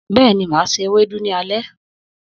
Bẹ́ẹ̀ni, máa se ewédú ní alé.